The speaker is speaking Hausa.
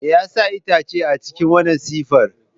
Me yasa itace a cikin wannan siffar?